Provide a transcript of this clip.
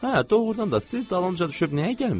Hə, doğrudan da siz dalımca düşüb nəyə gəlmisiz?